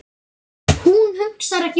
Hún hugsar ekki um það.